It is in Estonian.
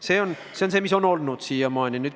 Siiamaani on nii olnud.